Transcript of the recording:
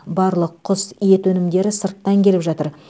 барлық құс ет өнімдері сырттан келіп жатыр